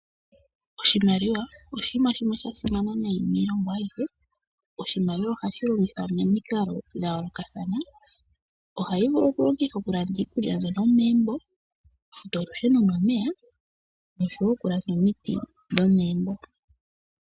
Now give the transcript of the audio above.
Oshimaliwa oshinima shimwe sha simana nayi miilongo ayihe. Oshimaliwa oha shi longithwa momikalo dha yoolokathana, oha yi vulu okulongithwa oku landa iikulya yomegumbo, oku futa olusheno nomeya, nosho woo okulanda omiti dhomeembo.